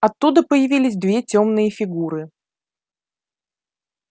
оттуда появились две тёмные фигуры